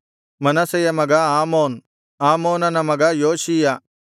ಮನಸ್ಸೆಯ ಮಗ ಆಮೋನ್ ಆಮೋನನ ಮಗ ಯೋಷೀಯ